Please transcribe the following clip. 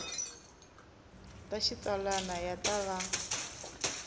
ta xitsalwana ya ta va